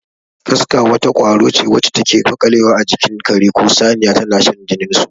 Kaska wata ƙwaro ce wacce take maƙalewa a jikin kare ko saniya tana shan jinin su.